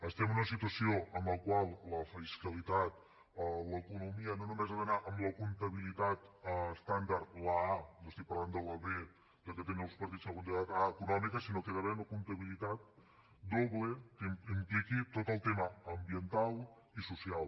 estem en una situació en la qual la fiscalitat l’economia no només ha d’anar amb la comptabilitat estàndard la a no estic parlant de la b la que tenen alguns partits la comptabilitat econòmica sinó que hi ha d’haver una comptabilitat doble que impliqui tot el tema ambiental i social